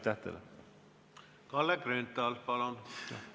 Kalle Grünthal, palun!